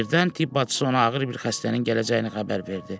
Birdən tibb bacısı ona ağır bir xəstənin gələcəyini xəbər verdi.